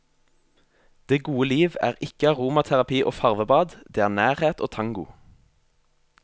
Det gode liv er ikke aromaterapi og farvebad, det er nærhet og tango.